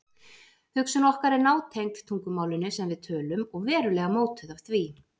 Hugsun okkar er nátengd tungumálinu sem við tölum og verulega mótuð af því.